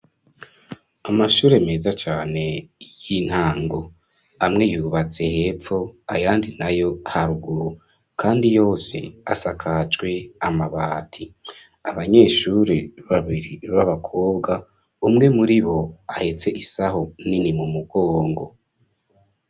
Amashure meza cane y'intango, amwe yubatse hepfo ayandi nayo haruguru, kandi yose asakajwe amabati, abanyeshuri babiri b'abakobwa umwe muri bo ahetse isaho nini mu mugongo.